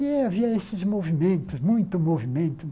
E havia esses movimentos, muito movimento.